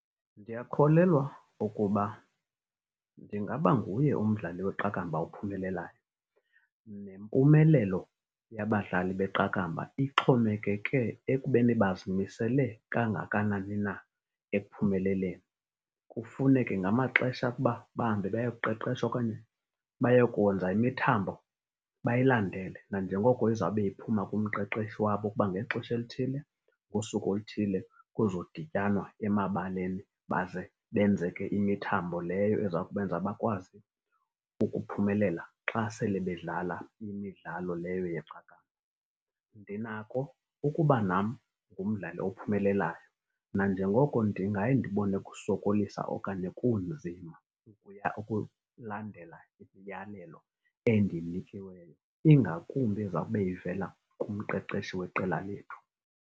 Ndiyakholelwa ukuba ndingaba nguye umdlali weqakamba ophumelelayo. Nempumelelo yabadlali beqakamba ixhomekeke ekubeni bazimisele kangakanani na ekuphumeleleni. Kufuneke ngamaxesha ukuba bahambe bayoqheqheshwa okanye bayokwenza imithambo, bayilandele nanjengoko izawube iphuma kumqeqeshi wabo ukuba ngexesha elithile ngosuku oluthile kuzodityanwa emabaleni baze benze ke imithambo leyo eza kubenza bakwazi ukuphumelela xa sele bedlala imidlalo leyo yeqakamba. Ndinako ukuba nam ngumdlali ophumelelayo nanjengoko ndingayi ndibone kusokolisa okanye kunzima ukulandela imiyalelo endiyinikiweyo, ingakumbi ezawube ivela kumqeqeshi weqela lethu.